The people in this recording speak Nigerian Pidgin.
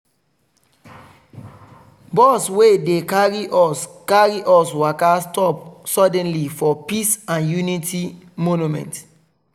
bus wey dey carry us carry us waka stop suddenly for peace and unity monument.